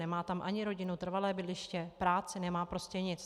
Nemá tam ani rodinu, trvalé bydliště, práci, nemá prostě nic.